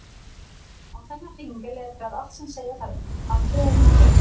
Á þennan hring er letrað allt sem segja þarf: Aldrei að víkja!